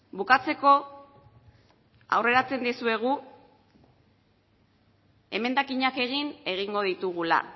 bukatzeko aurreratzen dizuegu emendakinak egin egingo ditugula